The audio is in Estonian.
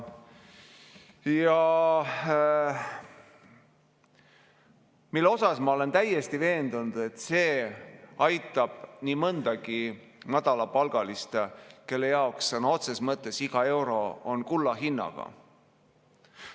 Ma olen täiesti veendunud, et see aitab nii mõndagi madalapalgalist, kelle jaoks sõna otseses mõttes iga euro on kulla hinnaga.